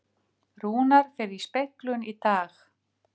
Rúnar fer í speglun í dag